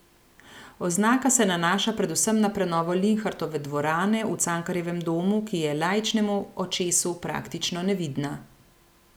Oznaka se nanaša predvsem na prenovo Linhartove dvorane v Cankarjevem domu, ki je laičnemu očesu praktično nevidna.